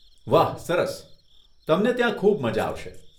વાહ, સરસ, તમને ત્યાં ખૂબ મઝા આવશે.